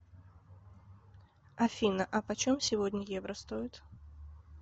афина а почем сегодня евро стоит